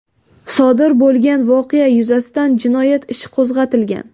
Sodir bo‘lgan voqea yuzasidan jinoyat ishi qo‘zg‘atilgan.